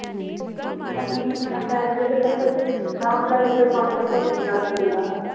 ਮੰਜ਼ੀ ਤੇ ਪੈਣਾ ਤਾਂ ਪੈ ਜਾਏ ਅਤੇ ਫੇਰ ਕੋਈ ਸ਼ਾਂਭਦਾ ਨਹੀਂ ਕੋਈ ਪਾਣੀ ਦਾ ਘੁੱਟ ਨਹੀਂ ਲਿਆ ਕੇ ਦਿੰਦਾ